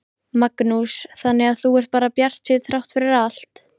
Magnús: Þannig að þú ert bara bjartsýnn þrátt fyrir allt?